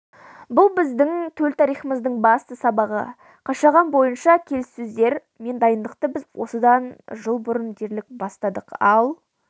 бұл біздің төл тарихымыздың басты сабағы қашаған бойынша келіссөздер мен дайындықты біз осыдан жыл бұрын дерлік бастадық ал